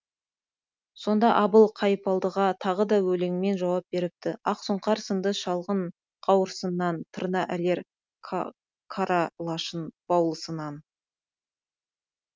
сонда абыл қайыпалдыға тағы да өлеңмен жауап беріпті ақ сұңқар сынды шалғын қауырсыннан тырна ілер кара лашын баулысынан